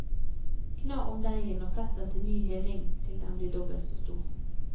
Kna om deigen og sett den til ny heving til den blir dobbelt så stor.